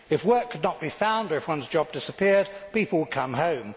If work could not be found, or if one's job disappeared, people would come home.